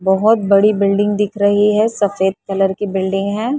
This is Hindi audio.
बहुत बड़ी बिल्डिंग दिख रही है सफेद कलर की बिल्डिंग है।